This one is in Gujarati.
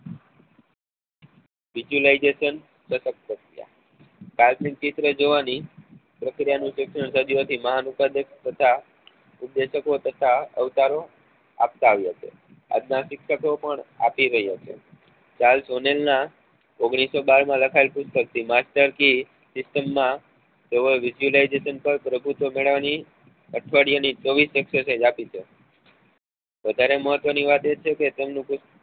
ચાલ નાં ઓગણીસો બાર માં લખાયેલા પુસ્તક stea master key માં visualisation માં પ્રભુત્વ મેળવવા ની અઠવાડિયા ની ચોવીસ exercise આપી હતી વધારે મહત્વ ની વાત એ છે કે તેમનું પુસ્ત